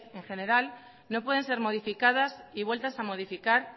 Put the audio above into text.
en general no pueden ser modificadas y vueltas a modificar